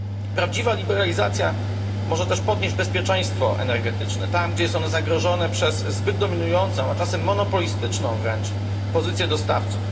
Prawdziwa liberalizacja może też podnieść bezpieczeństwo energetyczne tam, gdzie jest ono zagrożone przez zbyt dominującą, a czasem monopolistyczną wręcz pozycję dostawców.